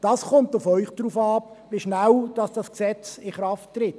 Es kommt auf Sie an, wie schnell dieses Gesetz in Kraft tritt.